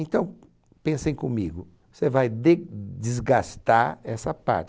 Então, pensem comigo, você vai de desgastar essa parte.